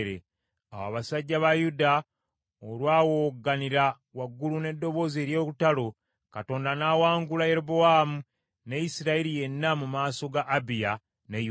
Awo abasajja ba Yuda olwa wowogganira waggulu n’eddoboozi ery’olutalo, Katonda n’awangula Yerobowaamu ne Isirayiri yenna mu maaso ga Abiya ne Yuda.